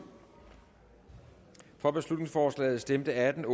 for beslutningsforslaget stemte atten